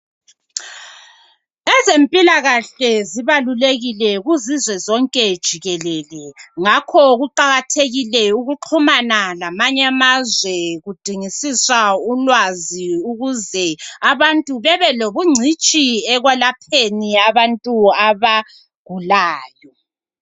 Ezempilakahle zibalulekile kuzizwe zonke jikelele. Ngakho kuqakathekile ukuxhumana lamany' amazwe kudingisiswa ulwazi ukuze abantu bebe lobungcitshi ekwelapheni abantu abagulayo.